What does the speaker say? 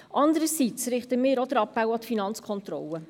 Andererseits richten wir auch den Appell an die FK.